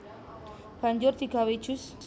Banjur digawé jus